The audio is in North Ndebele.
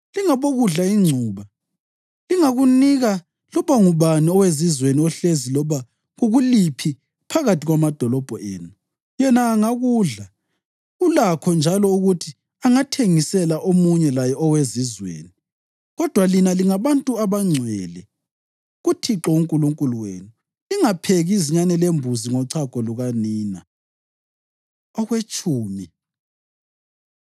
Lingabokudla ingcuba. Lingakunika loba ngubani owezizweni ohlezi loba kukuliphi phakathi kwamadolobho enu, yena angakudla, ulakho njalo ukuthi angathengisela omunye laye owezizweni. Kodwa lina lingabantu abangcwele kuThixo uNkulunkulu wenu. Lingapheki izinyane lembuzi ngochago lukanina.” Okwetshumi